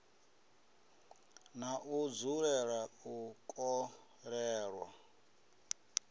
na u dzulela u kolelwa